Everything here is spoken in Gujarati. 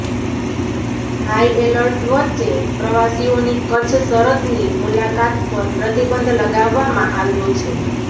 હાઇએલર્ટ વચ્ચે પ્રવાસીઓની કચ્છ સરદની મુલાકાત પર પ્રતિબંધ લગાવવામાં આવ્યો છે